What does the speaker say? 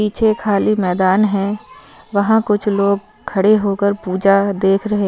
पीछे खाली मैदान है वहा कुछ लोग खड़े हो कर पूजा देख रहे है।